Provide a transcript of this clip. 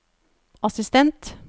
assistent